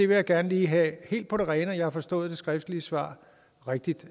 vil gerne lige have helt på det rene at jeg har forstået det skriftlige svar rigtigt